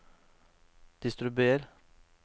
distribuer